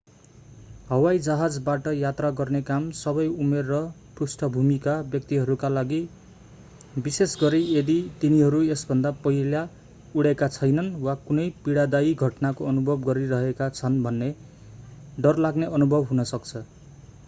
हवाईजहाजबाट यात्रा गर्ने काम सबै उमेर र पृष्ठभूमिका व्यक्तिहरूका लागि विशेषगरी यदि तिनीहरू यसभन्दा पहिला उडेका छैनन् वा कुनै पीडादायी घटनाको अनुभव गरिरहेका छन् भने डरलाग्ने अनुभव हुन सक्छ